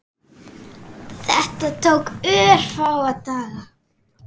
Þetta tók örfáa daga.